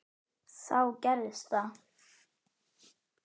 Þá gerðist það.